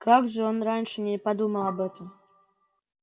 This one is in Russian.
как же он раньше не подумал об этом